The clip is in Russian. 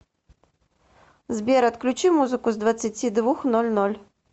сбер отключи музыку с двадцати двух ноль ноль